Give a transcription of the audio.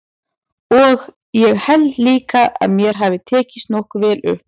Og ég held líka að mér hafi tekist nokkuð vel upp.